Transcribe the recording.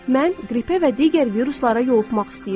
Mən qripə və digər viruslara yoluxmaq istəyirəm.